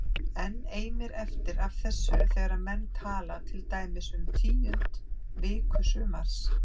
Enn eimir eftir af þessu þegar menn tala til dæmis um tíundu viku sumars